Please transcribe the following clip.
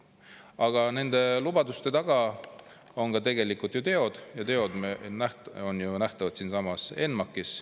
Aga nende lubaduste taga on tegelikult ju teod ja teod on nähtavad siinsamas ENMAK-is.